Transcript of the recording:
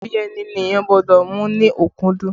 Ẹbí ẹni ni èèyàn gbọ́dọ̀ mú ní ọ̀kúkúdùn